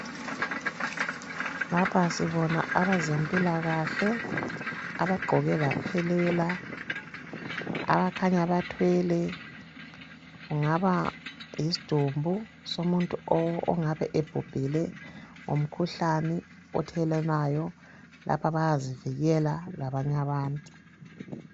Lapha sibona abezempilakahle abagqoke baphelela ,abakhanya bathwele kungaba yisidumbu somuntu ongabe ebhubhile ngomkhuhlane othelelwanayo .lapha bayazivikela labanya bantu.